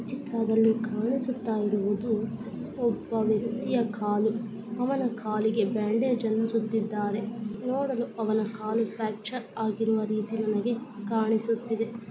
ಈ ಚಿತ್ರದಲ್ಲಿ ಕಾಣಿಸುತ್ತ ಇರುವುದು ಒಬ್ಬ ವ್ಯಕ್ತಿಯ ಕಾಲು ಅವನ ಕಾಲಿಗೆ ಬ್ಯಾಂಡೇಜ್ ಅನ್ನು ಸುತ್ತಿದ್ದಾನೆ ನೋಡುವ ಅವನು ಕಾಲ ಫ್ಯಾಕ್ಚರ್ ಆಗಿರುವ ರೀತಿಯ ನನಗೆ ಕಾಣಿಸುತ್ತಿದೆ .